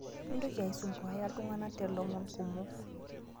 Mintoki aisompuaya ltungana telomon kumo